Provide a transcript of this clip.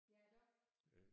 Ja iggå?